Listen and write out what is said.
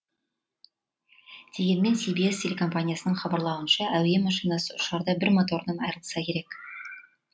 дегенмен си би эс телекомпаниясының хабарлауынша әуе машинасы ұшарда бір моторынан айрылса керек